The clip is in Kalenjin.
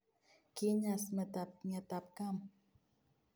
Kinyaas meetab ng�etabkam